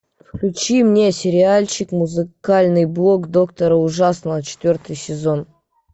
включи мне сериальчик музыкальный блог доктора ужасного четвертый сезон